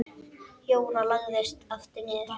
Jóra lagðist aftur niður.